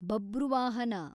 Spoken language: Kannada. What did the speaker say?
ಬಬ್ರುವಾಹನ